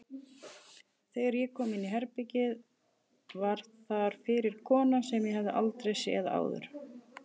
Þegar ég kom inní herbergið var þar fyrir kona sem ég hafði aldrei séð áður.